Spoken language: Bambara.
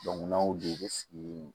n'a y'o de sigi